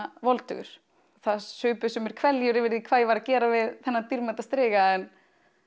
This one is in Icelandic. voldugur það supu sumir hverljur yfir því hvað ég væri að gera við þennan dýrmæta striga en